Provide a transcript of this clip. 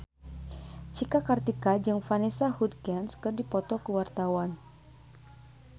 Cika Kartika jeung Vanessa Hudgens keur dipoto ku wartawan